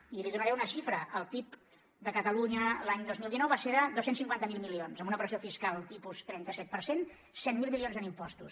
i li donaré una xifra el pib de catalunya l’any dos mil dinou va ser de dos cents i cinquanta miler milions amb una operació fiscal tipus trenta set per cent cent miler milions en impostos